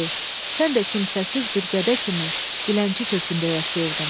Sən də kimsəsiz bir gədə kimi dilənçi kökündə yaşayırdın.